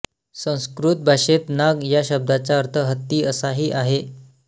संस्कृत भाषेत नाग या शब्दाचा अर्थ हत्ती असाही आहे